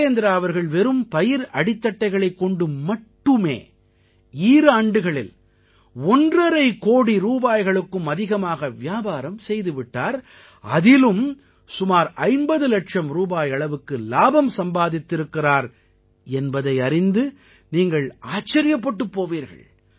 வீரேந்த்ரா அவர்கள் வெறும் பயிர் அடித்தட்டைகளைக் கொண்டு மட்டுமே ஈராண்டுகளில் ஒன்றரை கோடி ரூபாய்களுக்கும் அதிகமாக வியாபாரம் செய்து விட்டார் அதிலும் சுமார் 50 இலட்சம் ரூபாய் அளவுக்கு இலாபம் சம்பாதித்திருக்கிறார் என்பதை அறிந்து நீங்கள் ஆச்சரியப்பட்டுப் போவீர்கள்